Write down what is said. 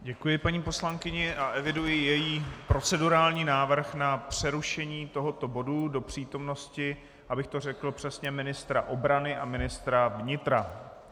Děkuji paní poslankyni a eviduji její procedurální návrh na přerušení tohoto bodu do přítomnosti, abych to řekl přesně, ministra obrany a ministra vnitra.